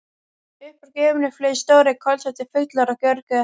Upp úr gufunni flugu stórir, kolsvartir fuglar og görguðu hátt.